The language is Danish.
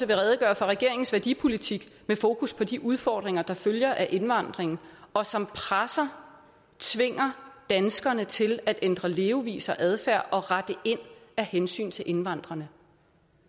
vil redegøre for regeringens værdipolitik med fokus på de udfordringer der følger af indvandringen og som presser tvinger danskerne til at ændre levevis og adfærd og rette ind af hensyn til indvandrerne